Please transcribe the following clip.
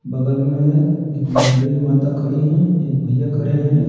बगल में है एक लेडीज माता खड़ी हैं एक भैया खड़े हैं।